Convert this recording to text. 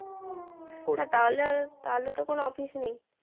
হ্যাঁ তাহলে তাহলে তো কোনো অসুবিধা নেই